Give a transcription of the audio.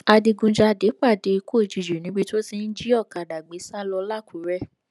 adigunjalè pàdé ikú òjijì níbi tó ti ń jí ọkadà gbé sá lọ làkúrè